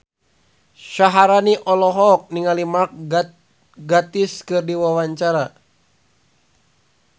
Syaharani olohok ningali Mark Gatiss keur diwawancara